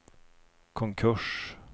konkurs